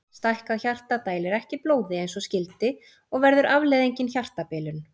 Stækkað hjarta dælir ekki blóði eins og skyldi og verður afleiðingin hjartabilun.